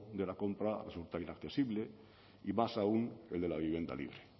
de la compra resulta inaccesible y más aún el de la vivienda libre